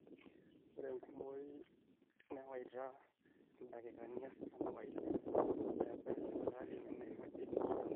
ore enkumoi newaita ildakikani artam oile pee ebaya sipitali nemeiragi nataana